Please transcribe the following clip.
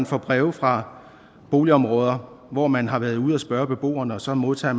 får breve fra boligområder hvor man har været ude at spørge beboerne og så modtager